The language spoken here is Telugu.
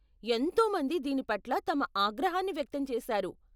ఎంతో మంది దీని పట్ల తమ ఆగ్రహాన్ని వ్యక్తం చేసారు.